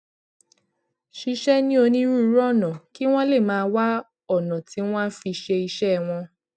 ṣiṣẹ ní onírúurú ọnà kí wọn lè máa wá ònà tí wọn á fi ṣe iṣẹ wọn